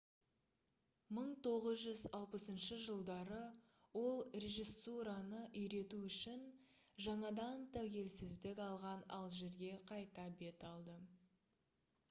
1960 жылдары ол режиссураны үйрету үшін жаңадан тәуелсіздік алған алжирге қайта бет алды